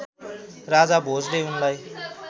राजा भोजले उनलाई